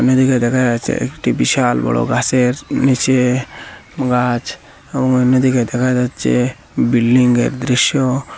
এদিকে দেখা যাচ্ছে একটি বিশাল বড় গাসের নীচে গাছ এবং অন্যদিকে দেখা যাচ্চে বিল্ডিংয়ের দৃশ্য।